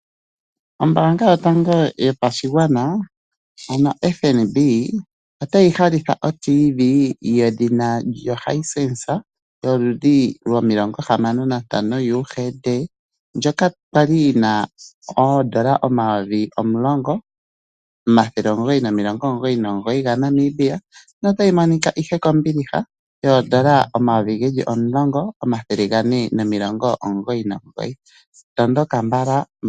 Ombanga yotango yopashigwana yoFNB otayi ha hitha otivi yedhina Hisense yoludhi 65 UHD ndjoka kwali yina N$10999 notayi monika kombiliha kondola N$10499 tondoka mbala.